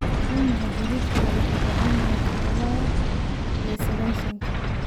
waa maxay xididka labajibbaaran ee todoba iyo sagaashanka